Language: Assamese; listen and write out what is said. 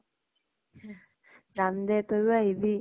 যাম দে, তইও আহিবি ।